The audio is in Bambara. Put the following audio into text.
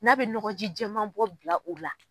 N'a bi nɔgɔji cɛman bɔ bila u la